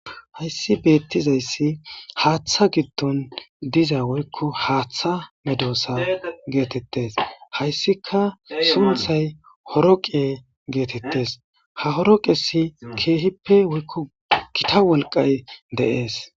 hayssi beettizayssi haaththa giddon diza woykko haaththa medoosa geetettes hayssika sunthay horo qee geetettes ha horo qesi keehippe woykko kita wolqay deees